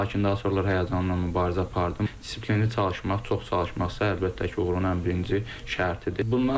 Lakin daha sonralar həyəcanla mübarizə apardım, disiplinli çalışmaq, çox çalışmaqsa əlbəttə ki, uğurun ən birinci şərtidir.